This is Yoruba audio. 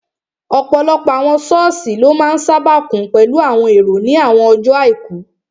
Ọ̀pọ̀lọpọ̀ àwọn sọ́ọ̀sì ló máa n sáábà kún pẹ̀lú àwọn èrò ní àwọn ọjọ́ àìkú